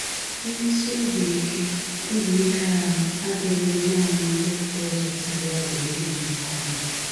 Mmesi obi ike obi ike ahụ adịrịghị nanị ndị pụrụ ịzụtali ọgwụ ndị dị oké ọnụ